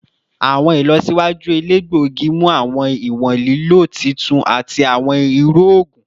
Awọn ilọsiwaju elegbogi mu awọn iwọn lilo titun ati awọn iru oogun